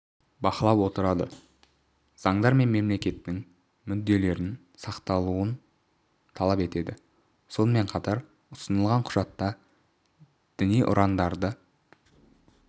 бақылап отырады заңдар мен мемлекеттің мүдделерін сақтауын талап етеді сонымен қатар ұсынылған құжатта діни ұрандарды